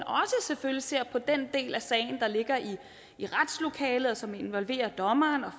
selvfølgelig også ser på den del af sagen der ligger i retslokalet og som involverer dommeren og